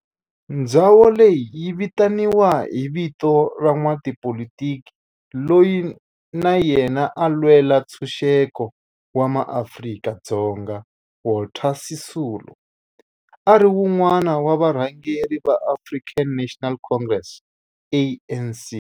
Ndhawo leyi yi vitaniwa hi vito ra n'watipolitiki loyi na yena a lwela ntshuxeko wa maAfrika-Dzonga Walter Sisulu, a ri wun'wana wa varhangeri va African National Congress, ANC.